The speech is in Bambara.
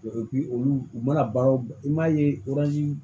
olu u u mana baara i m'a ye